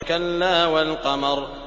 كَلَّا وَالْقَمَرِ